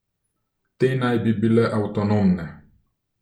Te naj bi bile avtonomne.